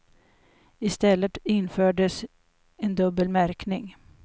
I stället infördes en dubbel märkning.